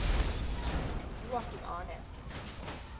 Joachim Arnesen